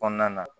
Kɔnɔna na